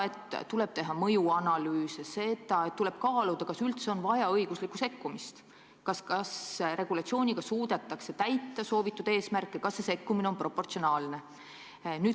Tuleb teha mõjuanalüüse, tuleb kaaluda, kas üldse on vaja õiguslikku sekkumist, kas regulatsiooniga suudetakse saavutada soovitud eesmärke, kas see sekkumine on proportsionaalne.